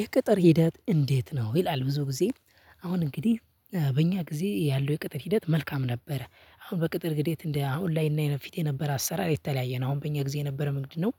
የቅጥር ሂደት እንዴት? ነው ይላል ብዙ ጊዜ። አሁን እንግዲህ በእኛ ጊዜ ያለው የቅጥር ሂደት መልካም ነበረ። አሁን በቅጥር ግዴት እንደ አሁን ላይ እና የፊት የነበረ አሰራር የተለያየ ነው። አሁን በእኛ ጊዜ የነበረ ምንድነው?